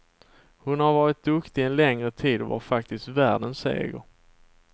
Hon har varit duktig en längre tid och var faktiskt värd en seger.